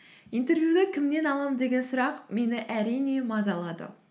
интервьюді кімнен аламын деген сұрақ мені әрине мазалады